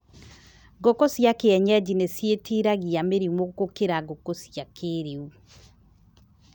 Ngũkũ cia kĩenyeji nĩ ciĩtiragia mĩrimũ gũkĩra ngũkũ cia kĩrĩu.